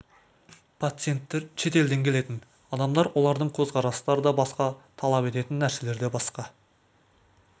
пациенттер шет елден келетін адамдар олардың көз қарастары да басқа талап ететін нәрселері де басқа